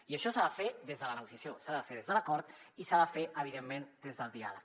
i això s’ha de fer des de la negociació s’ha de fer des de l’acord i s’ha de fer evidentment des del diàleg